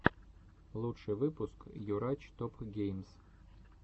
лучший выпуск юрач топ геймс